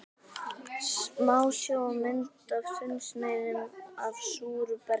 Smásjármynd af þunnsneiðum af súru bergi.